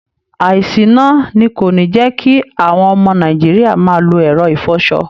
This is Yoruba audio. àìsíná ni kò ní jẹ́ kí àwọn ọmọ Nàìjíríà máa lo ẹ̀rọ ìfọṣọ